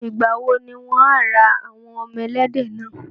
Ìgbàwo ni wọ́n á wá ra àwọn ọmọ ẹlẹ́dẹ̀ náà.